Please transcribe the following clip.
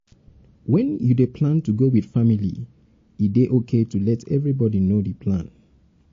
when you dey plan to go with family with family e dey okay to let everybody know di plan